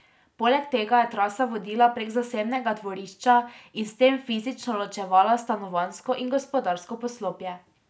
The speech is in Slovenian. Poleg tega je trasa vodila prek zasebnega dvorišča in s tem fizično ločevala stanovanjsko in gospodarsko poslopje.